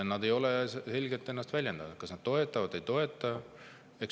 Nad ei ole selgelt väljendanud, kas nad toetavad või ei toeta.